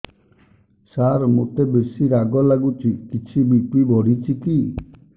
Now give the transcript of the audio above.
ସାର ମୋତେ ବେସି ରାଗ ଲାଗୁଚି କିଛି ବି.ପି ବଢ଼ିଚି କି